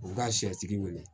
U ka sɛtigi wele